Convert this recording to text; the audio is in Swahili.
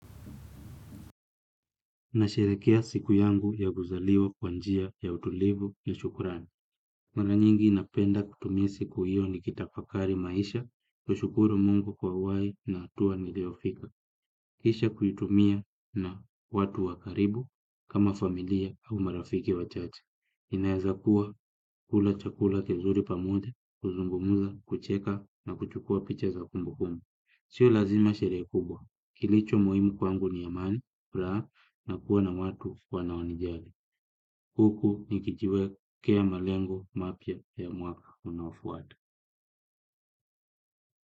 Nasherehekea siku yangu ya kuzaliwa kwa njia ya utulivu ya shukurani. Mara nyingi napenda kutumia siku hiyo nikitafakari maisha, kushukuru mungu kwa uhaia na hatua niliofika. Kisha kuitumia na watu wa karibu kama familia au marafiki wachache. Inaweza kuwa kula chakula kizuri pamoja, kuzungumza, kucheka na kuchukua picha za kumbukumbu. Sio lazima sherehe kubwa, kilicho muhimu kwangu ni amani, furaha na kuwa na watu wanaonijali. Huku nikijiwekea malengo mapya ya mwaka unaofuata.